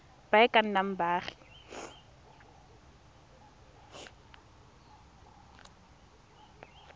ba e ka nnang baagi